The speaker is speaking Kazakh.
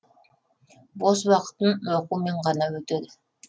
бос уақытым оқумен ғана өтеді